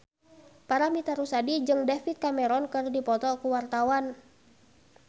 Paramitha Rusady jeung David Cameron keur dipoto ku wartawan